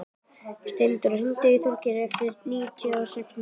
Steindóra, hringdu í Þorgerði eftir níutíu og sex mínútur.